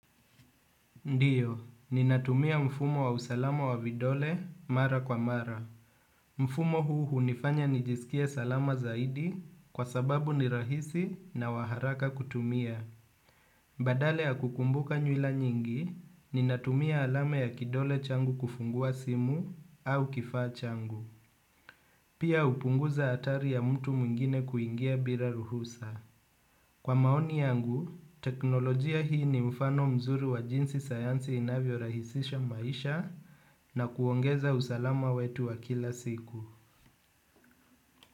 Ndiyo, ninatumia mfumo wa usalama wa vidole mara kwa mara. Mfumo huu hunifanya nijisikie salama zaidi kwa sababu ni rahisi na wa haraka kutumia. Badala ya kukumbuka nywila nyingi, ninatumia alama ya kidole changu kufungua simu au kifaa changu. Pia hupunguza atari ya mtu mwingine kuingia bila ruhusa. Kwa maoni yangu, teknolojia hii ni mfano mzuri wa jinsi sayansi inavyo rahisisha maisha na kuongeza usalama wetu wa kila siku.